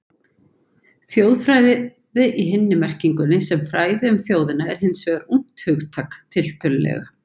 Þjóðfræði í hinni merkingunni, sem fræði um þjóðina, er hins vegar ungt hugtak, tiltölulega.